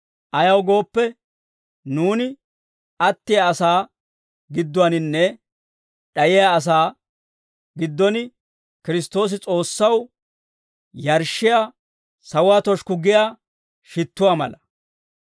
Ayaw gooppe, nuuni attiyaa asaa gidduwaaninne d'ayiyaa asaa giddon Kiristtoosi S'oossaw yarshshiyaa sawuwaa toshikku giyaa shittuwaa mala.